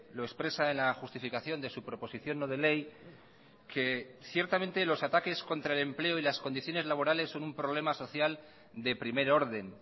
lo expresa en la justificación de su proposición no de ley que ciertamente los ataques contra el empleo y las condiciones laborales son un problema social de primer orden